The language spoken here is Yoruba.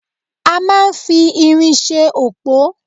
A máa ń fi irin ṣe òpó